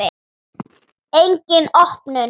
Engin opnun.